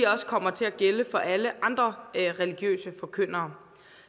også kommer til at gælde for alle andre religiøse forkyndere